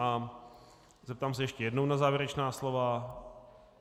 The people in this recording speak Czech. A zeptám se ještě jednou na závěrečná slova.